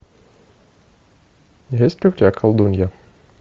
есть ли у тебя колдунья